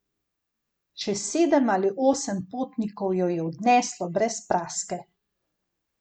Še sedem ali osem potnikov jo je odneslo brez praske.